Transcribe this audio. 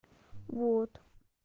вот